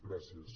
gràcies